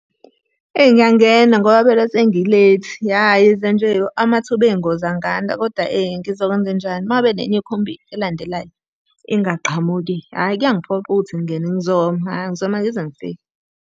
Eyi ngiyangena ngoba phela sengi-late. Ya yize nje amathuba ey'ngozi anganda, kodwa ngizokwenze njani? Uma ngabe nenye ikhombi elandelayo ingaqhamuki, hhayi kuyangiphoqa ukuthi ngingene, ngizoma, hhayi ngizoma ngize ngifike.